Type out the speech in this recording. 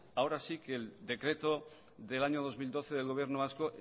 ahora sí que el decreto del año dos mil doce del gobierno vasco